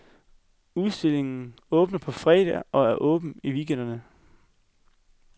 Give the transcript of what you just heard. Udstillingen åbner på fredag og er åben i weekenderne.